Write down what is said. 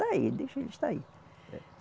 Está aí, deixa ele estar aí.